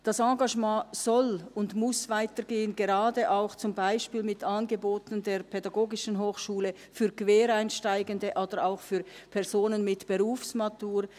Das Engagement soll und muss weitergehen, gerade auch beispielsweise mit Angeboten der PH für Quereinsteigende oder auch für Personen mit Berufsmatur.